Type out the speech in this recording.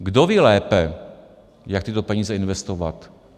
Kdo ví lépe, jak tyto peníze investovat?